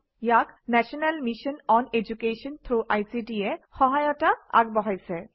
ইয়াত national mission on education through ICT এ সহায়তা আগবঢ়াইছে